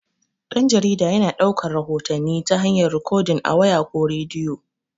Dan-jarida yana daukar rahotanni ta hayar rikodin a waya, ko rediyo.